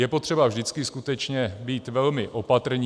Je potřeba vždycky skutečně být velmi opatrní.